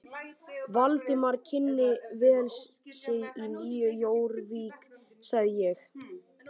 Valdimar kynni vel við sig í Nýju Jórvík, sagði ég.